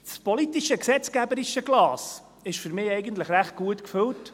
Das politische gesetzgeberische Glas ist für mich eigentlich recht gut gefüllt.